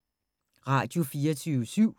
Radio24syv